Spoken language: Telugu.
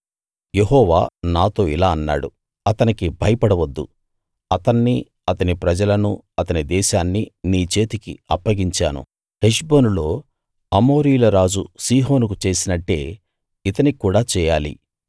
యెహోవా నాతో ఇలా అన్నాడు అతనికి భయపడ వద్దు అతన్నీ అతని ప్రజలనూ అతని దేశాన్నీ నీ చేతికి అప్పగించాను హెష్బోనులో అమోరీయుల రాజు సీహోనుకు చేసినట్టే ఇతనికి కూడా చేయాలి